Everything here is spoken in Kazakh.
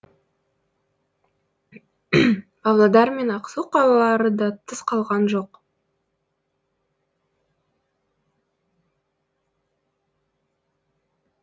павлодар мен ақсу қалалары да тыс қалған жоқ